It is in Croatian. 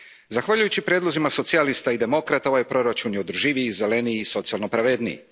Zahvaljujući prijedlozima Socijalista i demokrata, ovaj proračun je održiviji i zeleniji i socijalno pravedniji.